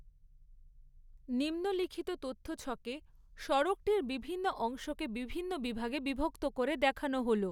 নিম্নলিখিত তথ্যছকে সড়কটির বিভিন্ন অংশকে বিভিন্ন বিভাগে বিভক্ত করে দেখানো হলো।